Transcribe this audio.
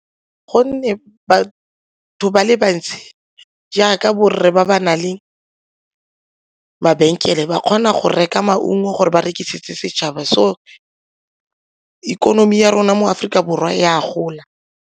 Gonne batho ba le bantsi jaaka borre ba ba nang le mabenkele ba kgona go reka maungo gore ba rekisitse setšhaba, so ikonomi ya rona mo Aforika Borwa e a gola.